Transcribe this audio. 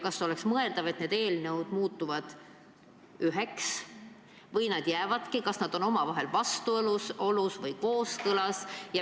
Kas oleks mõeldav, et need eelnõud muutuvad üheks, või nad jäävadki, kas nad on omavahel vastuolus või kooskõlas?